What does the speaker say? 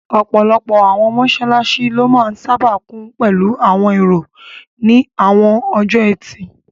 Ọ̀pọ̀lọpọ̀ àwọn mọ́sálásí ló máa n sáábà kún pẹ̀lú àwọn èrò ní àwọn ọjọ́ ẹtì